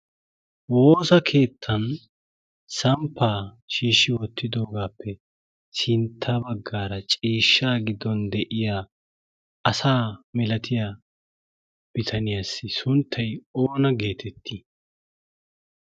Wosaa keettan samppa shiish wottidogappe sintta baggaara ciishshaa gidon de'iya asaa milaatiyaa biitaniyassi sunttay oona geeteti?